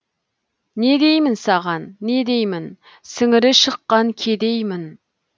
не деймін саған не деймін сіңірі шыққан кедеймін